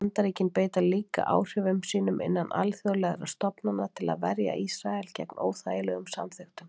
Bandaríkin beita líka áhrifum sínum innan alþjóðlegra stofnana til að verja Ísrael gegn óþægilegum samþykktum.